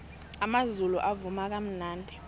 amazulu avuma kamnandi